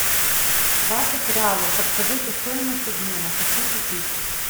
двадцать реалов подскажите стоимость обмена хочу купить